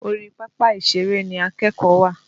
Orí papa ìṣèrè ni akẹ́kọ̀ọ́ wà.